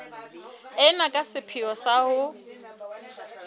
ena ka sepheo sa ho